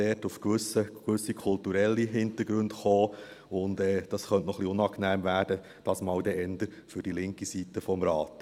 Man könnte auf gewisse kulturelle Hintergründe stossen, und das könnte etwas unangenehm werden, diesmal eher für die linke Seite des Rates.